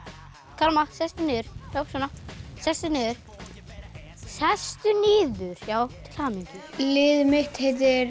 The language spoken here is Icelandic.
karma sestu niður sestu niður sestu niður já til hamingju liðið mitt heitir